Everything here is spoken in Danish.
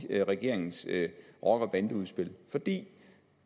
regeringens rocker bande udspil fordi